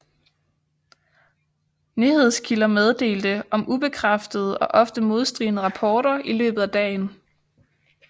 Nyhedskilder meddelte om ubekræftede og ofte modstridende rapporter i løbet af dagen